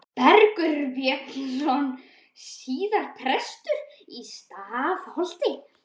Bergur Björnsson, síðar prestur í Stafholti.